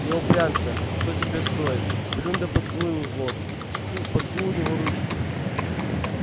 не упрямься что тебе стоит плюнь да поцелуй у злод тьфу поцелуй у него ручку